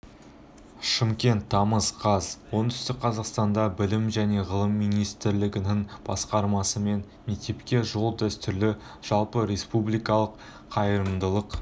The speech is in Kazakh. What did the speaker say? шымкент тамыз қаз оңтүстік қазақстанда білім және ғылым министрлігінің бастамасымен мектепке жол дәстүрлі жалпы республикалық қайырымдылық